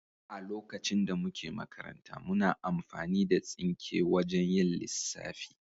A lokacin da muke makaranta, muna amfani da tsinke wajan yin lissafi.